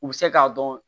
U bɛ se k'a dɔn